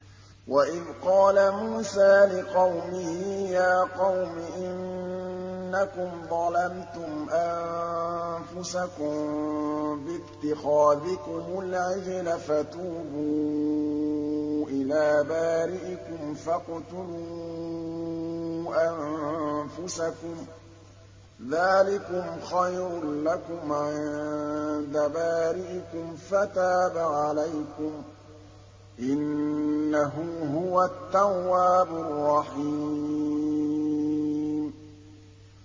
وَإِذْ قَالَ مُوسَىٰ لِقَوْمِهِ يَا قَوْمِ إِنَّكُمْ ظَلَمْتُمْ أَنفُسَكُم بِاتِّخَاذِكُمُ الْعِجْلَ فَتُوبُوا إِلَىٰ بَارِئِكُمْ فَاقْتُلُوا أَنفُسَكُمْ ذَٰلِكُمْ خَيْرٌ لَّكُمْ عِندَ بَارِئِكُمْ فَتَابَ عَلَيْكُمْ ۚ إِنَّهُ هُوَ التَّوَّابُ الرَّحِيمُ